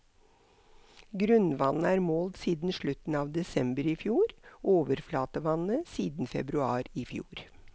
Grunnvannet er målt siden slutten av desember i fjor, overflatevannet siden februar i fjor.